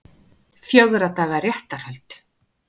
Fjögurra daga réttarhöld